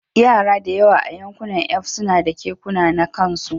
Yara da yawa a Yankunan F suna da kekuna na kansu